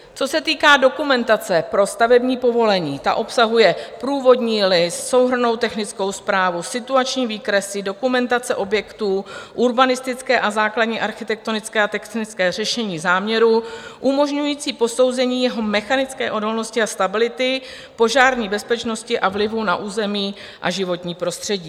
Co se týká dokumentace pro stavební povolení, ta obsahuje průvodní list, souhrnnou technickou zprávu, situační výkresy, dokumentace objektů, urbanistické a základní architektonické a technické řešení záměrů umožňující posouzení jeho mechanické odolnosti a stability, požární bezpečnosti a vlivu na území a životní prostředí.